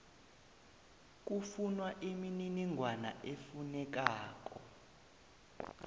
kufunwa imininingwana efunekako